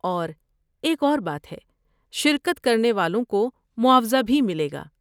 اور ایک اور بات ہے، شرکت کرنے والوں کو معاوضہ بھی ملے گا۔